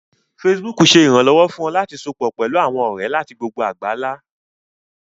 Facebook ṣé ìrànlọ́wọ́ fún ọ láti sopọ̀ pẹlú àwọn ọ̀rẹ́ láti gbogbo àgbálá